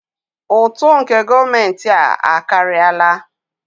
Ụtụ nke gọọmentị a akarịala.